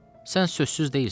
Sən sözsüz deyilsən.